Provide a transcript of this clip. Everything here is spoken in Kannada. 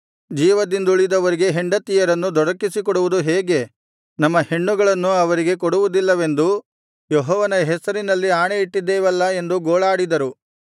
ಜೀವದಿಂದುಳಿದವರಿಗೆ ಹೆಂಡತಿಯರನ್ನು ದೊರಕಿಸಿಕೊಡುವುದು ಹೇಗೆ ನಮ್ಮ ಹೆಣ್ಣುಗಳನ್ನು ಅವರಿಗೆ ಕೊಡುವುದಿಲ್ಲವೆಂದು ಯೆಹೋವನ ಹೆಸರಿನಲ್ಲಿ ಆಣೆಯಿಟ್ಟಿದ್ದೇವಲ್ಲಾ ಎಂದು ಗೋಳಾಡಿದರು